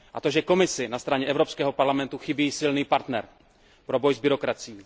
A to, že Komisi na straně Evropského parlamentu chybí silný partner pro boj s byrokracií.